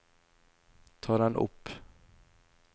ta den opp